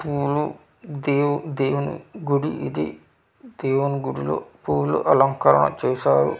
పూలు దేవ్ దేవుని గుడి ఇది దేవుని గుడి లో పూల అలంకరణ చేశారు .]